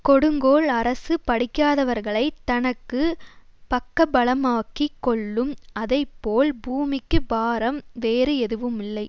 கொடுங்கோல் அரசு படிக்காதவர்களைத் தனக்கு பக்கபலமாக்கிக் கொள்ளும் அதை போல பூமிக்குப் பாரம் வேறு எதுவுமில்லை